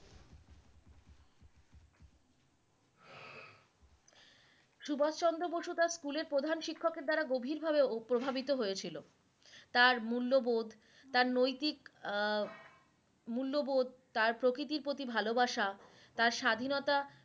সুভাষ চন্দ্র বসু তার স্কুলের প্রধান শিক্ষকের দ্বারা গভীর ভাবে প্রভাবিত হয়েছিলো তার মূল্যবোধ তার নৈতিক আহ মূল্যবোধ তার প্রকৃতির প্রতি ভালোবাসা তার স্বাধিনতা